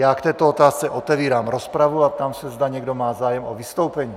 Já k této otázce otevírám rozpravu a ptám se, zda někdo má zájem o vystoupení.